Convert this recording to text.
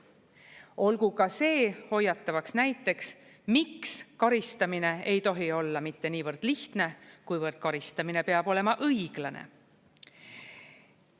Olgu ka see hoiatavaks näiteks, miks karistamine ei tohi olla mitte niivõrd lihtne, kuivõrd karistamine peab olema õiglane.